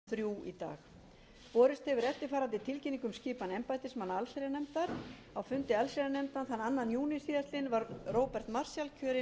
borist hefur eftirfarandi tilkynning um skipan embættismanna allsherjarnefndar á fundi allsherjarnefndar þann annan júní síðastliðinn var róbert marshall kjörinn